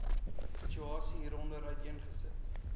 situasie hieronder uiteengesit